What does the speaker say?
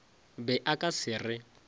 be a ka se re